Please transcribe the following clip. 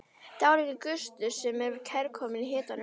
Dálítill gustur sem var kærkominn í hitanum.